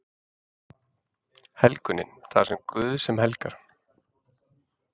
Helgunin: Það er Guð sem helgar.